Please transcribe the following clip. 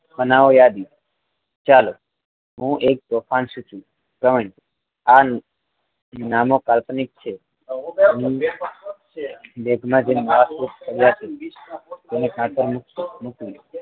બનાવો યાદી ચાલો હું એક તોફાન સોચુ નામો કાલ્પનિક છે બેગમાં જઈ વાટકુપ કરી આપી અને કાતર મૂકવી